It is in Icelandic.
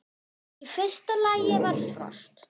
Í fyrsta lagi var frost.